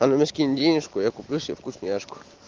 она мне скинет денежку я куплю себе вкусняшку